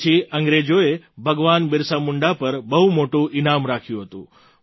તે પછી અંગ્રેજોએ ભગવાન બિરસા મુંડા પર બહુ મોટું ઈનામ રાખ્યું હતું